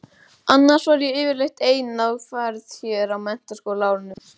Annars var ég yfirleitt ein á ferð hér á menntaskólaárunum.